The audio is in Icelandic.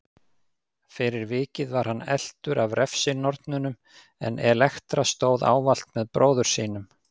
Fyrir vikið var hann eltur af refsinornunum en Elektra stóð ávallt með bróður sínum.